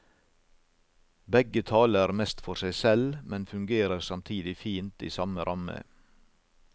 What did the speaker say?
Begge taler mest for seg selv, men fungerer samtidig fint i samme ramme.